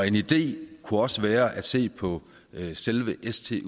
en idé kunne også være at se på selve